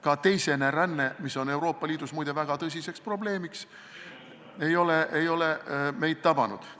Ka teisene ränne, mis on Euroopa Liidus muide väga tõsine probleem, ei ole meid tabanud.